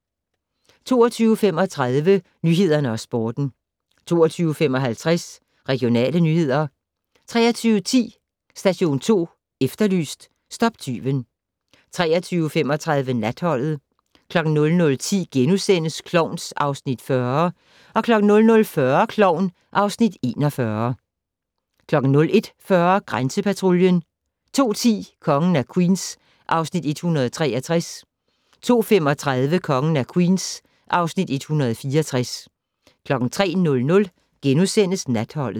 22:35: Nyhederne og Sporten 22:55: Regionale nyheder 23:10: Station 2 Efterlyst - stop tyven 23:35: Natholdet 00:10: Klovn (Afs. 40)* 00:40: Klovn (Afs. 41) 01:40: Grænsepatruljen 02:10: Kongen af Queens (Afs. 163) 02:35: Kongen af Queens (Afs. 164) 03:00: Natholdet *